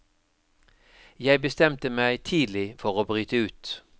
Jeg bestemte meg tidlig for å bryte ut.